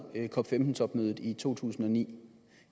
cop15 topmødet i to tusind og ni